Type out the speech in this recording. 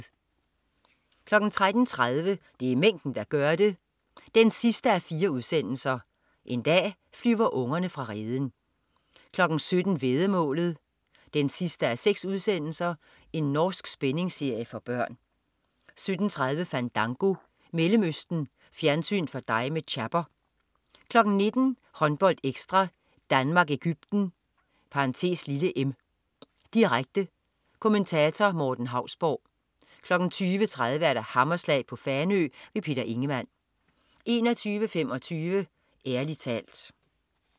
13.30 Det er mængden der gør det 4:4. En dag flyver ungerne fra reden 17.00 Væddemålet 6:6. Norsk spændingsserie for børn 17.30 Fandango, Mellemøsten. Fjernsyn for dig med Chapper 19.00 HåndboldEkstra: Danmark-Egypten (m), direkte. Kommentator: Morten Hausborg 20.30 Hammerslag på Fanø. Peter Ingemann 21.25 Ærlig talt